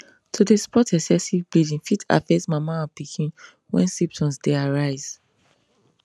to dey spot excessive bleeding fit affect mama and pikin wen symptoms dey arise